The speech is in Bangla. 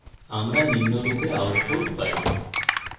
আমরা নিম্নরূপে output পাই: